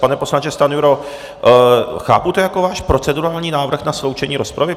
Pane poslanče Stanjuro, chápu to jako váš procedurální návrh na sloučení rozpravy?